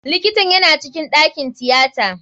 Likitan yana cikin ɗakin tiyata.